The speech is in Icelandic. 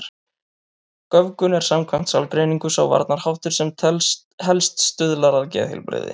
Göfgun er samkvæmt sálgreiningu sá varnarháttur sem helst stuðlar að geðheilbrigði.